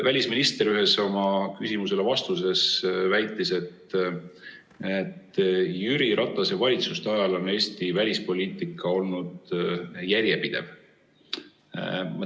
Välisminister ühes oma vastuses väitis, et Jüri Ratase valitsuste ajal oli Eesti välispoliitika järjepidev.